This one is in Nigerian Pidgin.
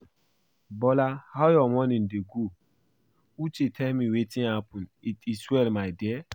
Bola how your morning dey go? Uche tell me wetin happen, it is well my dear.